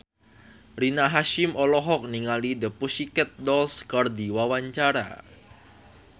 Rina Hasyim olohok ningali The Pussycat Dolls keur diwawancara